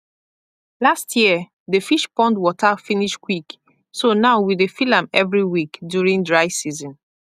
last year the fish pond water finish quick so now we dey fill am every week during dry season